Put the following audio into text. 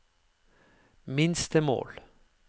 minstemål